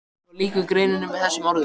Svo lýkur greininni með þessum orðum